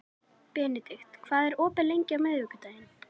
Benedikt, hvað er opið lengi á miðvikudaginn?